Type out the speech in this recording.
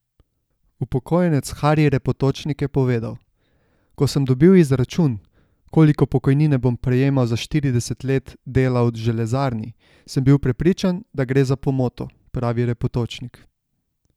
Upokojenec Hari Repotočnik je povedal: "Ko sem dobil izračun, koliko pokojnine bom prejemal za štirideset let dela v železarni, sem bil prepričan, da gre za pomoto," pravi Repotočnik.